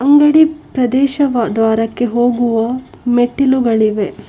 ಅಂಗಡಿ ಪ್ರದೇಶವ ದ್ವಾರಕ್ಕೆ ಹೋಗುವ ಮೆಟ್ಟಿಲುಗಳಿವೆ.